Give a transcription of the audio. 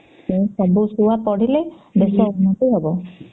ସବୁ ଛୁଆ ପଢିଲେ ଦେଶ ଉନ୍ନତି ହବ